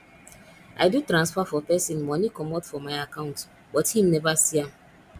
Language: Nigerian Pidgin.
i do transfer for person money comot for my account but him never see am